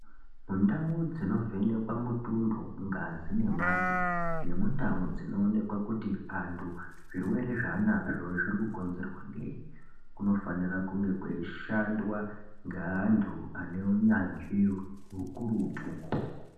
Ndau dzinovhenekwa mutundo, ngazi nemate nemundau dzinoonekwa kuti antu zvirwere zvaanazvo zvinokonzerwa ngei kunofana kunge kweishandwa ngeantu ane unyanzvi ukurutu.